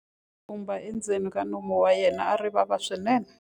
Tshumba endzeni ka nomu wa yena a ri vava swinene.